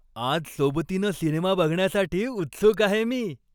आज सोबतीनं सिनेमा बघण्यासाठी उत्सुक आहे मी.